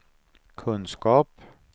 kunskap